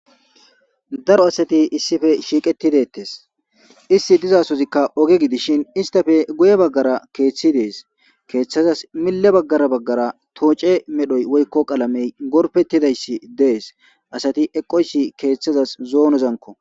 daro asati issife shiiqetidettes isti dizasozikka oge gidishin istafe guye baggara keeththi dees keeththazas mille baggara baggara tooce medhoy woykko qalamey gorpettidayssi dees asati eqoysi keeththazas zoonozanko